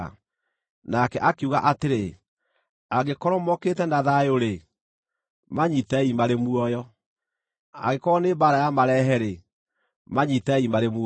Nake akiuga atĩrĩ, “Angĩkorwo mokĩte na thayũ-rĩ, manyiitei marĩ muoyo; angĩkorwo nĩ mbaara ya marehe-rĩ, manyiitei marĩ muoyo.”